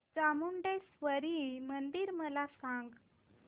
चामुंडेश्वरी मंदिर मला सांग